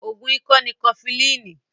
Oògùn ikọ́ ni Kọfilínì